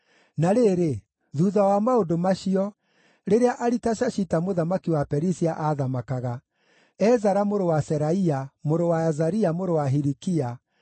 Na rĩrĩ, thuutha wa maũndũ macio, rĩrĩa Aritashashita mũthamaki wa Perisia aathamakaga, Ezara mũrũ wa Seraia, mũrũ wa Azaria, mũrũ wa Hilikia,